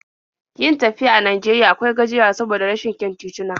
Yin tafiya a Najeriya akwai gajiyarwa saboda rashin kyan tituna.